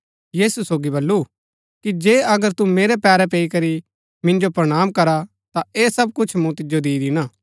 यीशु सोगी बल्लू कि जे अगर तू मेरै पैरै पैई करी मिन्जो प्रणाम करा ता ऐह सब कुछ मूँ तिजो दि दिणा